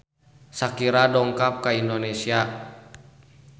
Shakira dongkap ka Indonesia